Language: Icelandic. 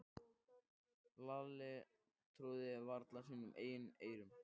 Lalli trúði varla sínum eigin eyrum.